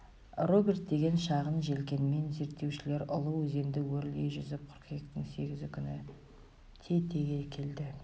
роберт деген шағын желкенмен зерттеушілер ұлы өзенді өрлей жүзіп қыркүйектің сегізі күні тетеге келді